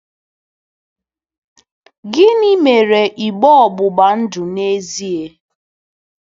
Gịnị mere igbe ọgbụgba ndụ n'ezie?